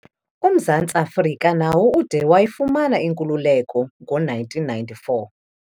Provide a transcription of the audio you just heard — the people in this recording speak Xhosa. UMzantsi Afrika nawo ude wayifumana inkululeko ngo-1994.